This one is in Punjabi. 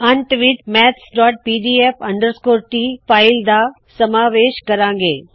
ਅੰਤ ਵਿੱਚ ਮੈਥਜ਼ਪੀਡੀਐਫ ਟੀ mathspdf ਟ ਫ਼ਾਇਲ ਦਾ ਸਮਾਵੇਸ਼ ਕਰਾੰ ਗੇ